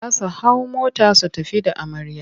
Za su hau mota su tafi da amarya.